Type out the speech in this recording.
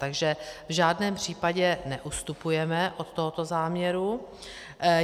Takže v žádném případě neustupujeme od tohoto záměru.